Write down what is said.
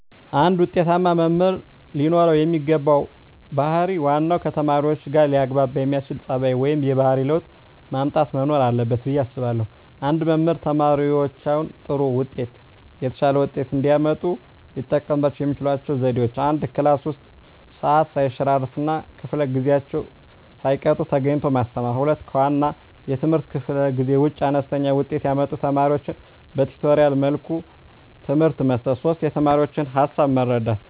አንድ ውጤታማ መምህር ለኖረው የሚገባው ባህር ዋናው ከተማሪዎቹጋ ሊያግባባ የሚያስችል ፀባዩ ወይም የባህሪ ለውጥ ማምጣት መኖር አለበት ብየ አስባለሁ። አንድ መምህር ተማሪዎቻቸው ጥሩ ወይም የተሻለ ውጤት እንዲያመጡ ሊጠቀሙባቸው የሚችሏቸው ዘዴዎች፦ 1, ክላስ ውስጥ ሰዓት ሰይሸራርፍ እና ከፈለ ጊዜአቸውን ሳይቀጡ ተገኝተው ማስተማር። 2, ከዋና የትምህርት ክፍለ ጊዜ ውጭ አነስተኛ ውጤት ያመጡ ተማሪዎቻቸውን በቲቶሪያል መልኩ ትምህርት መስጠት። 3, የተማሪዎቻቸውን ሀሳብ መረዳት